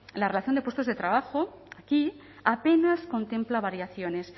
la relación de puestos de trabajo aquí apenas contempla variaciones